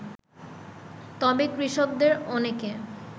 তবে কৃষকদের অনেকে